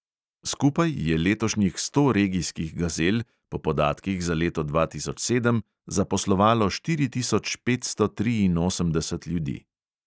Skupaj je letošnjih sto regijskih gazel po podatkih za leto dva tisoč sedem zaposlovalo štiri tisoč petsto triinosemdeset ljudi.